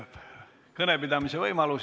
Kõnepidamise võimalus.